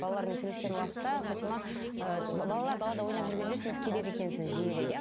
балалармен сөйлескен уақытта фатима ыыы балалар далада ойнап жүргенде сіз келеді екенсіз жиірек иә